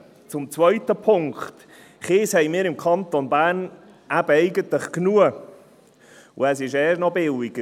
Zum zweiten Punkt: Kies haben wir im Kanton Bern eben eigentlich genug, und er ist erst noch billiger.